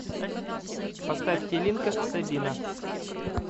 поставь келинка сабина